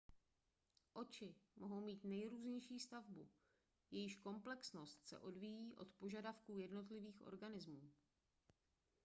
oči mohou mít nejrůznější stavbu jejíž komplexnost se odvíjí od požadavků jednotlivých organismů